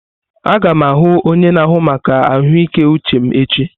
Aga m ahụ onye na-ahụ maka ahụike uche m echi.